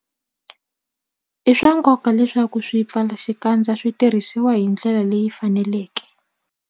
I swa nkoka leswaku swipfalaxikandza swi tirhisiwa hi ndlela leyi faneleke.